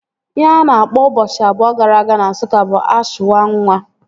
Ihe a na-akpọ ụbọchị abụọ gara aga na Nsụka bụ ashwanwa